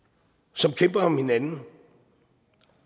som kæmper med hinanden